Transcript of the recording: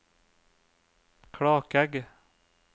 Klakegg